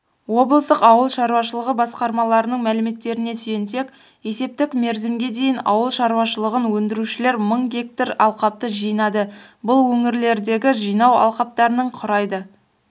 облыстық ауыл шаруашылығы басқармаларының мәліметтеріне сүйенсек есептік мерзімге дейін ауыл шаруашылығын өндірушілер мың га алқапты жинады бұл өңірлердегі жинау алқаптарының құрайды